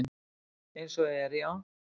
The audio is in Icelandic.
Eins og er já.